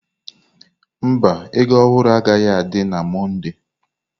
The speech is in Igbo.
Mba, ego ohuru agaghị adị na Mọnde.